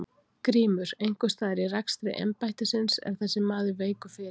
GRÍMUR: Einhvers staðar í rekstri embættisins er þessi maður veikur fyrir.